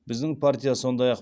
біздің партия сондай ақ